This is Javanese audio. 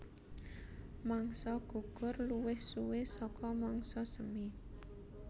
Mangsa gugur luwih suwé saka mangsa semi